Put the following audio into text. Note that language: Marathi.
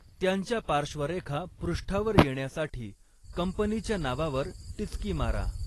त्यांच्या पार्श्वरेखा पृष्ठावर येण्यासाठी कंपनीच्या नावावर टिचकी मारा.